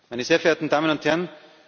meine sehr verehrten Damen und Herren,